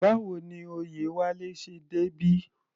Báwo ni Oyewale ṣe débí?